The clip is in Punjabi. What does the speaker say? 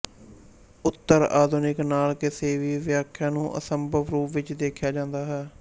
ਉੱਤਰ ਆਧੁਨਿਕਤਾ ਨਾਲ ਕਿਸੇ ਵੀ ਵਿਆਖਿਆ ਨੂੰ ਅਸੰਭਵ ਰੂਪ ਵਿੱਚ ਦੇਖਿਆ ਜ਼ਾਂਦਾ ਹੈ